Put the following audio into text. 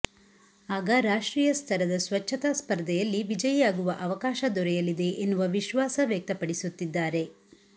ಆಗ ರಾಷ್ಟ್ರೀಯ ಸ್ತರದ ಸ್ವಚ್ಛತಾ ಸ್ಪರ್ಧೆಯಲ್ಲಿ ವಿಜಯಿಯಾಗುವ ಅವಕಾಶ ದೊರೆಯಲಿದೆ ಎನ್ನುವ ವಿಶ್ವಾಸ ವ್ಯಕ್ತಪಡಿಸುತ್ತಿದ್ದಾರೆ